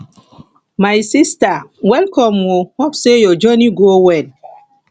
my sista welcome o hope sey your journey go well